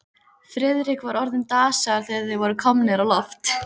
Friðrik var orðinn dasaður, þegar þeir voru komnir á loft.